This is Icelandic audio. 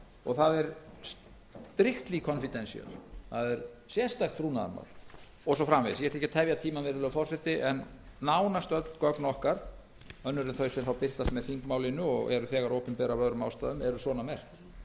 og það er strictly confidential það er sérstakt trúnaðarmál og svo framvegis ég ætla ekki að tefja tímann virðulegi forseti en nánast öll gögn okkar önnur en þau sem birtast með þingmálinu og eru þegar opinber af öðrum ástæðum eru svona merkt það